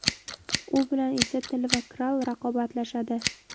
U bilan esa Til va Kral raqobatlashadi.